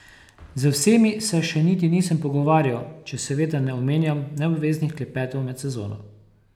Z vsemi se še niti nisem pogovarjal, če seveda ne omenjam neobveznih klepetov med sezono.